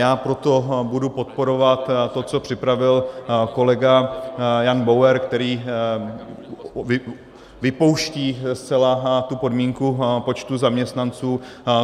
Já proto budu podporovat to, co připravil kolega Jan Bauer, který vypouští zcela tu podmínku počtu zaměstnanců.